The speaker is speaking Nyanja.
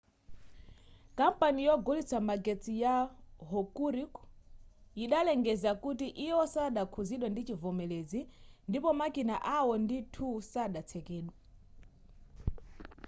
kampani yogulitsa magetsi ya hokuriku yidalengeza kuti iwo sadakhuzidwe ndi chivomelezi ndipo makina awo 1 ndi 2 sadatsekedwe